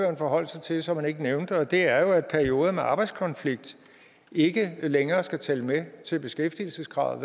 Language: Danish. at forholde sig til og som han ikke nævnte og det er jo at perioder med arbejdskonflikt ikke længere skal tælle med til beskæftigelseskravet